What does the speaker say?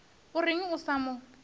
o reng a sa mo